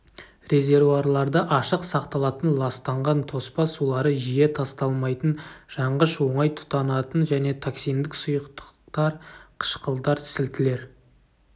резервуарларда ашық сақталатын ластанған тоспа сулары жиі тасталмайтын жанғыш оңай тұтанатын және токсиндік сұйықтықтар қышқылдар сілтілер